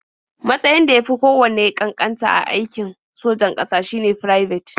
Matsayn da ya fi kowanne ƙanƙanta a aikin sojan ƙasa shine Firabet.